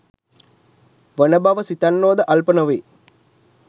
වන බව සිතන්නෝ ද අල්ප නොවේ.